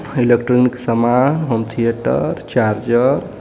electronic सामान home theatre charger --